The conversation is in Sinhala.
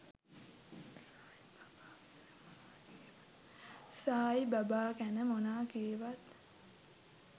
සායි බාබා ගැන මොනා කීවත්